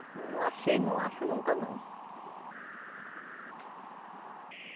Não achei, não acho nunca, não.